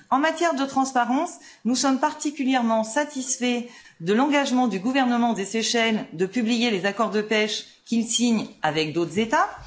En matière de transparence, nous sommes particulièrement satisfaits de l'engagement du gouvernement des Seychelles de publier les accords de pêche qu'il signe avec d'autres États.